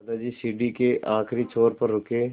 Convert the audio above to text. दादाजी सीढ़ी के आखिरी छोर पर रुके